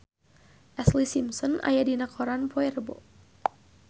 Ashlee Simpson aya dina koran poe Rebo